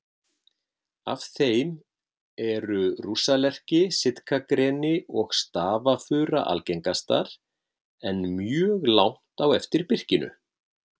Af þeim eru rússalerki, sitkagreni og stafafura algengastar, en mjög langt á eftir birkinu.